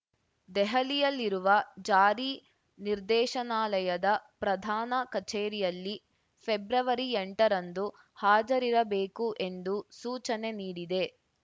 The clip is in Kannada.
ದೆಹಲಿಯಲ್ಲಿರುವ ಜಾರಿ ನಿರ್ದೇಶನಾಲಯದ ಪ್ರಧಾನ ಕಚೇರಿಯಲ್ಲಿ ಫೆಬ್ರವರಿಎಂಟರಂದು ಹಾಜರಿರಬೇಕು ಎಂದು ಸೂಚನೆ ನೀಡಿದೆ